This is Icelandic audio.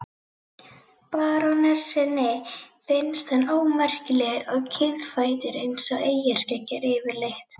Barónessunni finnst hann ómerkilegur og kiðfættur eins og eyjarskeggjar yfirleitt.